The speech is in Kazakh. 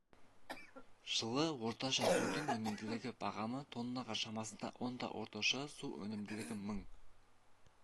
жылы орташа судың өнімділігі бағамы тоннаға шамасында онда орташа су өнімділігі мың